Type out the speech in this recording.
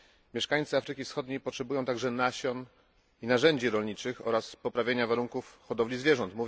Mieszkańcy Afryki Wschodniej potrzebują także nasion i narzędzi rolniczych oraz lepszych warunków hodowli zwierząt.